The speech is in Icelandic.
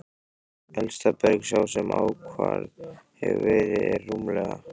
Elsta berg, sem ákvarðað hefur verið, er rúmlega